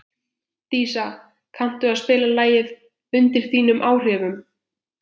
Dísa, kanntu að spila lagið „Undir þínum áhrifum“?